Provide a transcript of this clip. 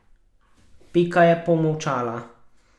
Pika je pomolčala.